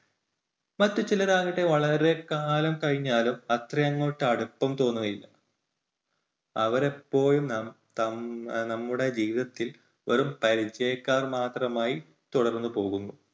മറ്റുചിലർ ആകട്ടെ വളരെ കാലം കഴിഞ്ഞാലും അത്രയങ്ങോട്ട് അടുപ്പം തോന്നുകയില്ല. അവരെപ്പോഴും നം~നമ്മു~നമ്മുടെ ജീവിതത്തിൽ വെറും പരിചയക്കാർ മാത്രമായി തുടർന്നു പോകുന്നു.